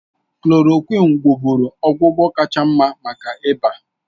Klòròkwịn wụ́bụ́ru ọgwụgwọ kacha mma maka ịba